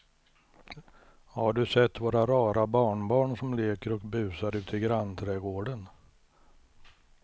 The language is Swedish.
Har du sett våra rara barnbarn som leker och busar ute i grannträdgården!